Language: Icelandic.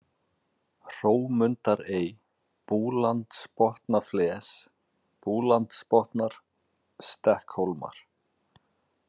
Hrómundarey, Búlandsbotnafles, Búlandsbotnar, Stekkhólmar